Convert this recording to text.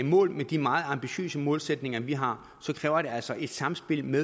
mål med de meget ambitiøse målsætninger vi har så kræver det altså et samspil med